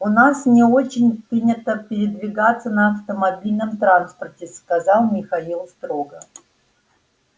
у нас не очень принято передвигаться на автомобильном транспорте сказал михаил строго